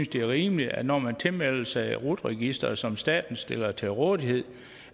det er rimeligt at når man tilmelder sig rut registeret som staten stiller til rådighed